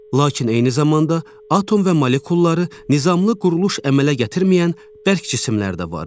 Lakin eyni zamanda atom və molekulları nizamlı quruluş əmələ gətirməyən bərk cisimlər də vardır.